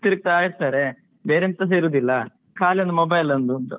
ತಿರುಗ್ತಾ ಇರ್ತಾರೆ ಬೇರೆ ಎಂತಸ ಇರುವುದಿಲ್ಲ ಖಾಲಿ ಒಂದು mobile ಒಂದ್ ಅಂತ